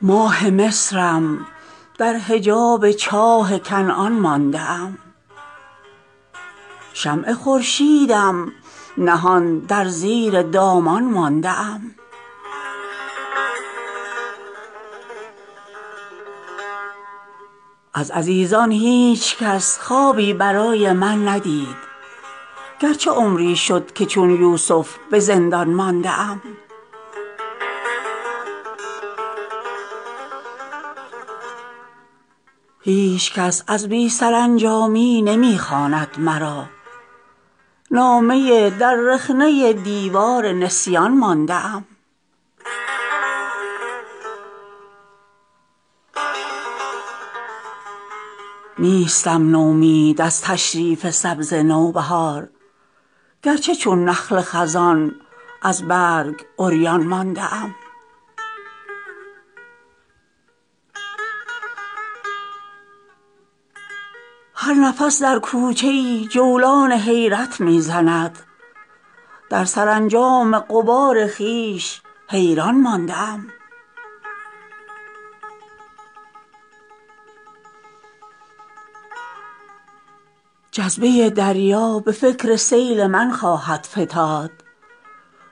ماه مصرم در حجاب چاه کنعان مانده ام شمع خورشیدم نهان در زیر دامان مانده ام از عزیزان هیچ کس خوابی برای من ندید گرچه عمری شد که چون یوسف به زندان مانده ام منزل آسایش من خاک بر سر کردن است سیل بی زورم جدا از بحر عمان مانده ام می گذارم سینه بر ریگ روان از تشنگی از رکاب خضر تنها در بیابان مانده ام خون خود را می خورد دل در تن افسرده ام در طلسم استخوان عاجز چو پیکان مانده ام جلوه زندان کند در چشم من شهر سبا هدهد خوش مژده ام دور از سلیمان مانده ام هر نفس در کوچه ای جولان حیرت می زند در سرانجام غبار خویش حیران مانده ام هیچ کس از بی سرانجامی نمی خواند مرا نامه در رخنه دیوار نسیان مانده ام جذبه دریا به فکر سیل من خواهد فتاد